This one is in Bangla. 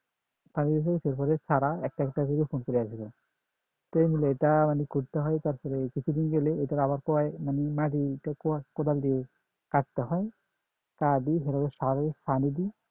চারা একটা একটা করে দিয়ে দেব তো মুলে এটা মানে করতে হয় তারপরে কিছুদিন গেলে ওটার আবার মানে মাটি উঠাতে হয় কোদাল দিয়ে কাটতে হয় পানি দেই